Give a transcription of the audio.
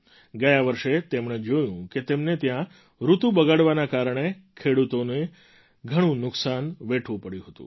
ગયા વર્ષે તેમણે જોયું કે તેમને ત્યાં ઋતુ બગડવાના કારણે ખેડૂતોને ઘણું નુકસાન વેઠવું પડ્યું હતું